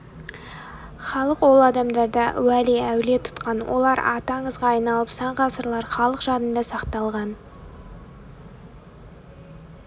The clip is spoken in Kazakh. халық ол адамдарды уәли әулие тұтқан олар аты аңызға айналып сан ғасырлар халық жадында сақталған